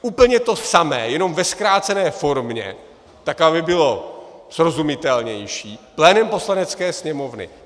Úplně to samé, jenom ve zkrácené formě, tak aby bylo srozumitelnější, plénem Poslanecké sněmovny.